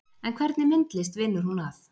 En hvernig myndlist vinnur hún að